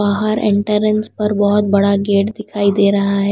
बाहर एंट्रेंस पर बहोत बड़ा गेट दिखाई दे रहा है।